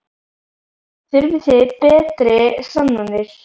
Þurfið þið betri sannanir?